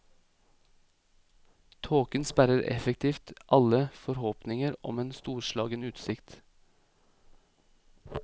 Tåken sperrer effektivt alle forhåpninger om en storslagen utsikt.